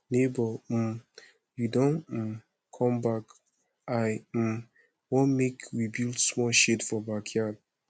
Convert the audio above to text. nebor um you don um come back i um want make we build small shed for backyard